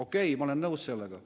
Okei, ma olen nõus sellega.